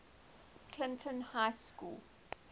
clinton high school